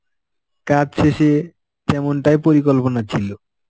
কাজ শেষে যেমনটাই পরিকল্পনা ছিল.